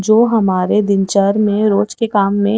जो हमारे दिनचर में रोज के काम में--